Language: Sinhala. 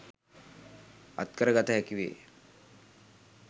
අත්කර ගත හැකි වේ.